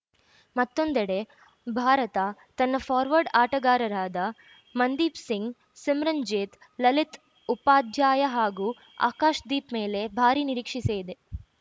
ಮತ್ತೊಂದೆಡೆ ಭಾರತ ತನ್ನ ಫಾರ್ವರ್ಡ್‌ ಆಟಗಾರರಾದ ಮನ್‌ದೀಪ್‌ ಸಿಂಗ್‌ ಸಿಮ್ರನ್‌ಜೕತ್‌ ಲಲಿತ್‌ ಉಪಾಧ್ಯಾಯ ಹಾಗೂ ಆಕಾಶ್‌ದೀಪ್‌ ಮೇಲೆ ಭಾರೀ ನಿರೀಕ್ಷೆಸಿದೆ